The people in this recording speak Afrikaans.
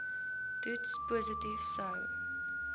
toets positief sou